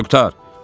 Yaxşı, qurtar.